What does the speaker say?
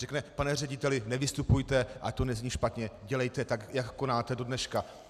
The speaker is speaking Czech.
Řekne: pane řediteli, nevystupujte, ať to nezní špatně, dělejte tak, jak konáte do dneška.